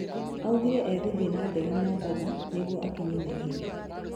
Augire egũthiĩ na ndege mobatha nĩguo akinye naihenya.